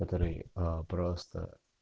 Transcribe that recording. который а просто